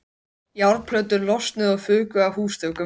Járnplötur losnuðu og fuku af húsþökum.